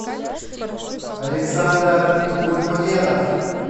александр гульмамедов